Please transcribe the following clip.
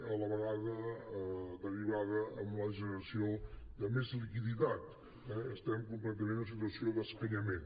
a la vegada no deriva en la generació de més liquidat eh estem completament en una situació d’escanyament